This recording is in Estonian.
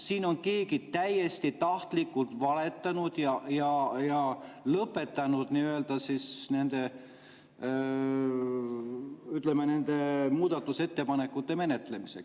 Siin on keegi täiesti tahtlikult valetanud ja lõpetanud nende, ütleme, muudatusettepanekute menetlemise.